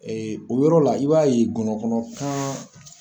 o yɔrɔ la i b'a ye gɔnɔkɔnɔ kan